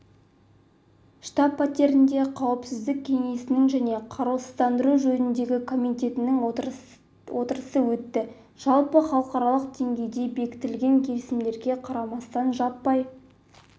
штаб-пәтерінде қауіпсіздік кеңесінің және қарусыздандыру жөніндегі комитеттің отырыстары өтті жалпы халықаралық деңгейде бекітілген келісімдерге қарамастан жаппай